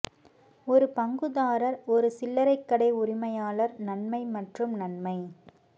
ஒரு பங்குதாரர் ஒரு சில்லறை கடை உரிமையாளர் நன்மை மற்றும் நன்மை